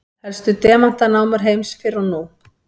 Helstu demantanámur heims fyrr og nú.